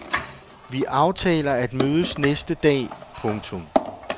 Vi aftaler at mødes næste dag. punktum